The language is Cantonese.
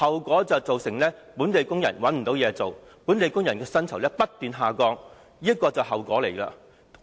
便是造成本地工人無法找到工作，薪酬不斷下降，這就是後果。